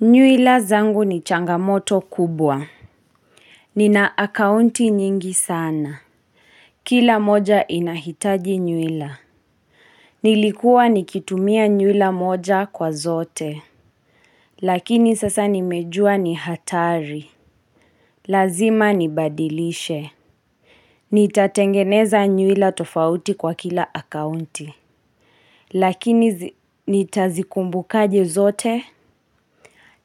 Nywila zangu ni changamoto kubwa. Nina akaunti nyingi sana. Kila moja inahitaji nyuila. Nilikuwa nikitumia nywila moja kwa zote. Lakini sasa nimejua ni hatari. Lazima nibadilishe. Nitatengeneza nywila tofauti kwa kila akaunti. Lakini nita zikumbukaje zote.